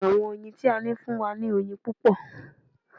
Àwọn oyin tí a ní ń fún wa ní oyin púpọ̀